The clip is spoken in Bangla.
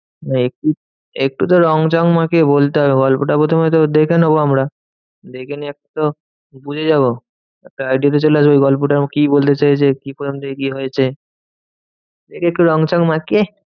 না একটু একটু তো রং চং মাখিয়ে বলতে হবে গল্পটা প্রথমে তো দেখে নেবো আমরা। দেখে নিয়ে এক তো বুঝে যাবো। একটা idea তো চলে আসবে গল্পটা কি বলতে চেয়েছে? কি কোনখান থেকে কি হয়েছে? দেখে একটু রং চং মাখিয়ে